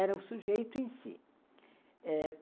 Era o sujeito em si. Eh